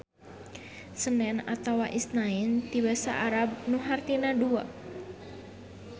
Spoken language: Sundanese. Senen atawa Isnain ti basa Arab nu hartina dua.